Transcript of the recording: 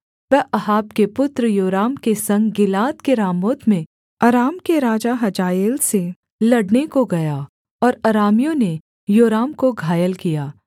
वह अहाब के पुत्र योराम के संग गिलाद के रामोत में अराम के राजा हजाएल से लड़ने को गया और अरामियों ने योराम को घायल किया